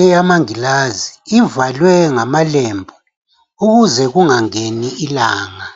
eyamangilazi ivalwe ngamalembu ukuze kungangeni ilanga.